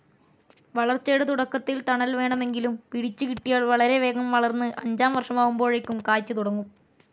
വളർച്ചയുടെ തുടക്കത്തിൽ തണൽ വേണമെങ്കിലും പിടിച്ചുകിട്ടിയാൽ വളരെ വേഗം വളർന്ന് അഞ്ചാം വർഷമാവുമ്പോഴേക്കും കായ്ച്ച് തുടങ്ങും.